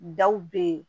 Daw bɛ ye